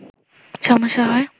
সমস্যা হয়